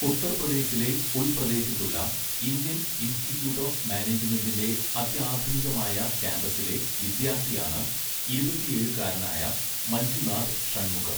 ഉത്തർപ്രദേശിലെ ഉൾപ്രദേശത്തുള്ള Indian institute of മാനേജ്മെൻ്റിൻ്റെ അത്യാധുനികമായ ക്യാമ്പസിലെ വിദ്യാർത്ഥിയാണ് ഇരുപത്തിയേഴുകാരനായ മഞ്ജുനാഥ് ഷൺമുഖം.